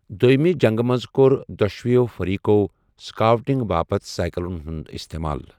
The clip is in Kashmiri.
دوٚیٛمہِ جنگہِ منٛز کوٚر دۄشوٕے فریقَو سکاؤٹنگ باپتھ سائیکلَن ہُنٛد استعمال۔